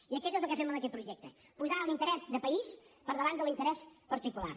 i això és el que fem amb aquest projecte posar l’interès de país per davant de l’interès particular